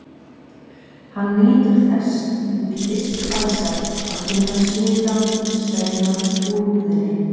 Hann nýtur þess út í ystu æsar að finna svitann streyma úr húðinni.